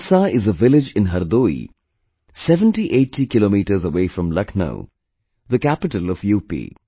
Bansa is a village in Hardoi, 7080 kilometres away from Lucknow, the capital of UP